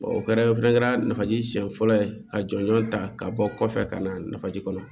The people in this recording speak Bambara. o kɛra o fɛnɛ kɛra nafaji siɲɛ fɔlɔ ye ka jɔnjɔn ta ka bɔ kɔfɛ ka na nafaji kɔnɔ